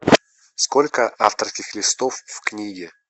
сколько авторских листов в книге